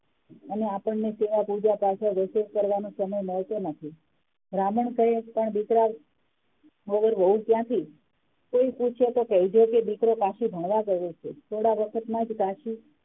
અને આપણે સેવા પુજા પાછળ રસોઇ કરવાનો સમય મળતો નથી બ્રાહ્મણ કહે પણ દીકરા વગર વહુ ક્યાથી કોઈ પૂછે તો કઈ દે કે દીકરો કાશી ભણવા ગયો છે થોડા વખતમાં કાશી